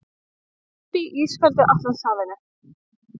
Uppi í ísköldu Atlantshafinu.